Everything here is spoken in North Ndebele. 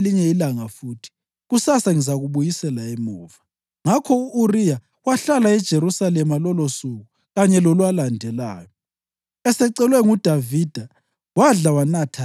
UDavida wasesithi kuye, “Hlala lapha elinye ilanga futhi, kusasa ngizakubuyisela emuva.” Ngakho u-Uriya wahlala eJerusalema lolosuku kanye lolwalandelayo.